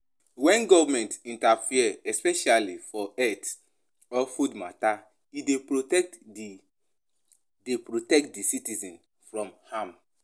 When government interfere especially for health or food matter, e dey protect di dey protect di citizens from harm